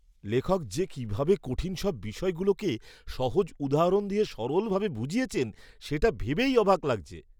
লেখক যে কিভাবে কঠিন সব বিষয়গুলোকে সহজ উদাহরণ দিয়ে সরলভাবে বুঝিয়েছেন, সেটা ভেবেই অবাক লাগছে!